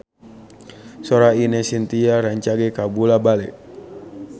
Sora Ine Shintya rancage kabula-bale